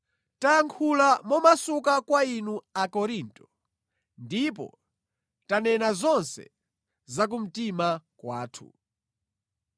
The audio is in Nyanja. Tayankhula momasuka kwa inu, Akorinto, ndipo tanena zonse za kumtima kwathu.